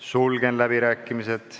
Sulgen läbirääkimised.